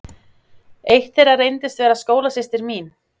Eitt þeirra reyndist vera skólasystir mín.